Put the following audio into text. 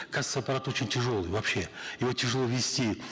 кассовый аппарат очень тяжелый вообще его тяжело вести